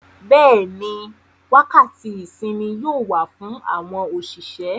Bẹ́ẹ̀ni, wákàtí ìsinmi yóò wà fún àwọn òṣìṣẹ́.